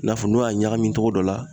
I n'a fɔ n'o y'a ɲagami togo dɔ la